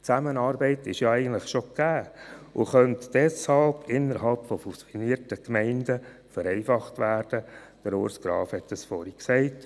Die Zusammenarbeit ist ja eigentlich schon gegeben und könnte deshalb innerhalb von fusionierten Gemeinden vereinfacht werden und so Ressourcen freilegen, Urs Graf hat dies vorhin gesagt.